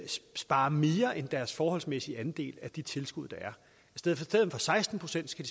spare mere end deres forholdsmæssige andel af de tilskud der er i stedet for seksten procent skal